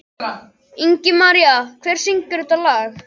Ingimaría, hver syngur þetta lag?